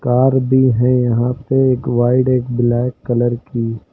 Car भी है यहां पे एक वाइट एक ब्लैक कलर की।